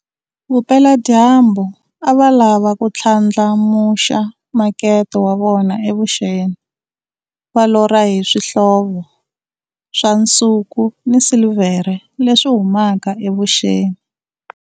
Vupela-dyambu a va lava ku ndlandlamuxa makete wa vona eVuxeni, va lorha hi swihlovo swa nsuku ni silivhere leswi humaka eVuxeni.